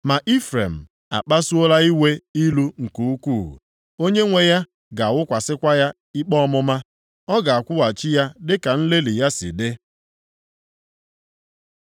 Ma Ifrem akpasuola iwe ilu nke ukwuu. Onyenwe ya ga-awụkwasịkwa ya ikpe ọmụma. Ọ ga-akwụghachi ya dịka nlelị ya si dị.